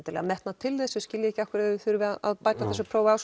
metnað til þess og skilja ekki af hverju þau þurfi að bæta þessu próf á